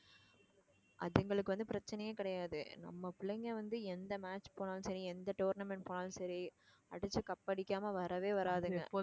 அதுங்களுக்கு வந்து பிரச்சனையே கிடையாது நம்ம பிள்ளைங்க வந்து எந்த match போனாலும் சரி எந்த tournament போனாலும் சரி அடிச்சு cup அடிக்காம வரவே வராதுங்க